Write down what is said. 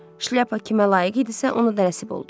Şlyapa kimə layiq idisə, ona da nəsib oldu.